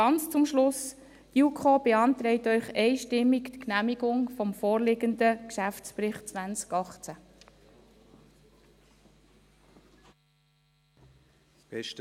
Ganz zum Schluss: Die JuKo beantragt Ihnen einstimmig die Genehmigung des vorliegenden Geschäftsberichts 2018.